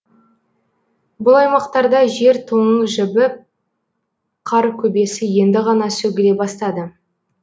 бұл аймақтарда жер тоңы жібіп қар көбесі енді ғана сөгіле бастады